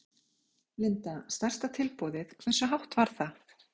Linda: Stærsta tilboðið, hversu hátt var það?